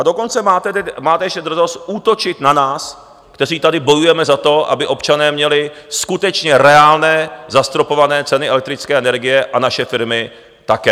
A dokonce máte ještě drzost útočit na nás, kteří tady bojujeme za to, aby občané měli skutečně reálné zastropované ceny elektrické energie a naše firmy také.